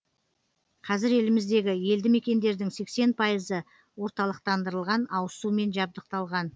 қазір еліміздегі елді мекендердің сексен пайызы орталықтандырылған ауызсумен жабдықталған